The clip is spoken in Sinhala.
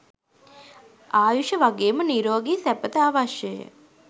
ආයුෂ වගේම නිරෝගි සැපත අවශ්‍යය.